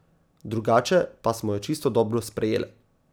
Drugače pa smo jo čisto dobro sprejele.